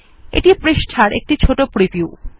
এটি পৃষ্টার একটি ছোট প্রিভিউ